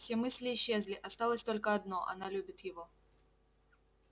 все мысли исчезли осталось только одно она любит его